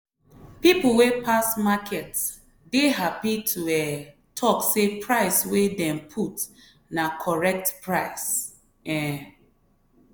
people wey pass market dey happy to um talk say price wey dem put na correct price. um